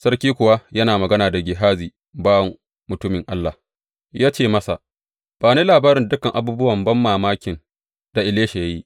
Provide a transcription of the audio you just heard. Sarki kuwa yana magana da Gehazi bawan mutumin Allah, ya ce masa, Ba ni labarin dukan abubuwan banmamakin da Elisha ya yi.